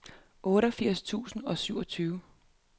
otteogfirs tusind og syvogtyve